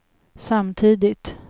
samtidigt